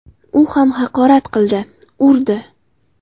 U ham haqorat qildi, urdi.